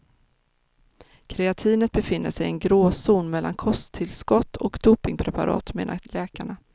Kreatinet befinner sig i en gråzon mellan kosttillskott och dopingpreparat, menar läkarna.